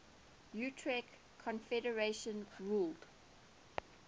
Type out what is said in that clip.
tuareg confederations ruled